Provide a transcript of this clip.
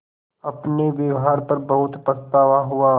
अपने व्यवहार पर बहुत पछतावा हुआ